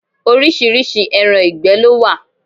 Oríṣiríṣi ẹran ìgbẹ́ ló wà.